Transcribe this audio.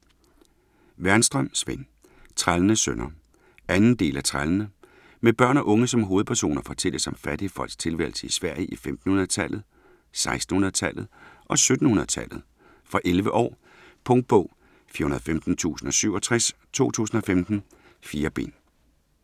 Wernström, Sven: Trællenes sønner 2. del af Trællene. Med børn og unge som hovedpersoner fortælles om fattige folks tilværelse i Sverige i 1500-tallet, 1600-tallet og 1700-tallet. Fra 11 år. Punktbog 415067 2015. 4 bind.